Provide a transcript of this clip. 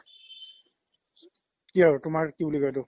কি আৰু তুমাৰ কি বুলি ক্'ই এটো